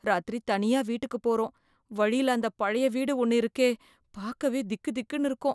ராத்திரி தனியா வீட்டுக்கு போறோம், வழியில அந்த பழைய வீடு ஒன்னு இருக்கே, பாக்கவே திக் திக்குனு இருக்கும்.